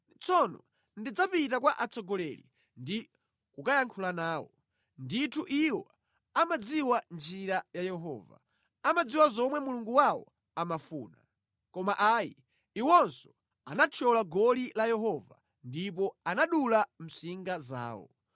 Tsono ndidzapita kwa atsogoleri ndi kukayankhula nawo; ndithu iwo amadziwa njira ya Yehova, amadziwa zomwe Mulungu wawo amafuna.” Koma ayi, iwonso anathyola goli la Yehova ndipo anadula msinga zawo.